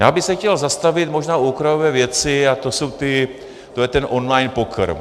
Já bych se chtěl zastavit možná u okrajové věci a tou je ten online poker.